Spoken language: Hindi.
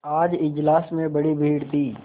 आज इजलास में बड़ी भीड़ थी